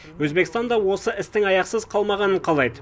өзбекстан да осы істің аяқсыз қалмағанын қалайды